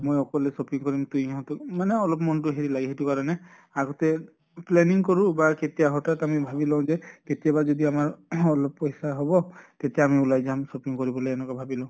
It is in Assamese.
মই অকলে shopping কৰিম তো ইহঁতক মানে মন টো অলপ হেৰি লাগে সেইটো কাৰণে। আগতে planning কৰো বা কেতিয়া হঠাৎ আমি ভাবি লওঁ যে কেতিয়াবা যদি আমাৰ ing অলপ পইছা হʼব, তেতিয়া আমি ওলাই যাম shopping কৰিবলৈ এনকা ভাবি লওঁ।